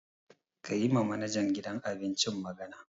Ka yiwa manajan gidan abincin magana.